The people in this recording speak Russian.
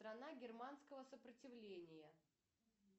страна германского сопротивления